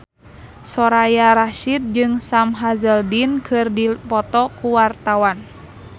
Soraya Rasyid jeung Sam Hazeldine keur dipoto ku wartawan